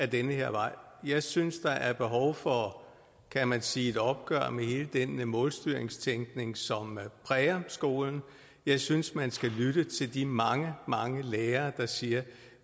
den her vej jeg synes der er behov for kan man sige et opgør med hele den målstyringstænkning som præger skolen jeg synes man skal lytte til de mange mange lærere der siger